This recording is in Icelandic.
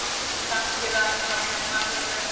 Kannski við ættum bara að gleyma þessu öllu